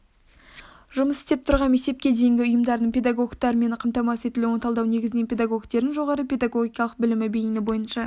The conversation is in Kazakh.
жұмыс істеп тұрған мектепке дейінгі ұйымдардың педагогтермен қамтамасыз етілуін талдау негізінен педагогтердің жоғары педагогикалық білімі бейіні бойынша